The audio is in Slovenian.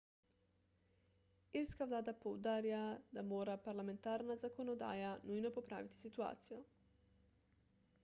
irska vlada poudarja da mora parlamentarna zakonodaja nujno popraviti situacijo